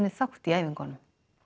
þátt í æfingunum